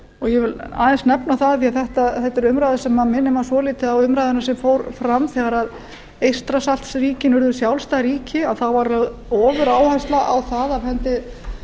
ég vil aðeins nefna það því þetta er umræða sem minnir mann svolítið á umræðuna sem fór fram þegar eystrasaltsríkin urðu sjálfstæð ríki þá var lögð ofuráhersla á það af hendi